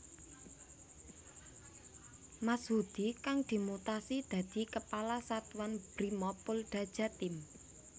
Mashudi kang dimutasi dadi Kepala Satuan Brimob Polda Jatim